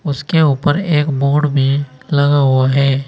उसके ऊपर एक बोर्ड भी लगा हुआ है।